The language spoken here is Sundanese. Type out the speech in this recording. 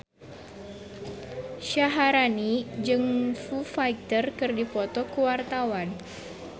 Syaharani jeung Foo Fighter keur dipoto ku wartawan